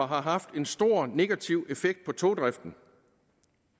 har haft en stor negativ effekt på togdriften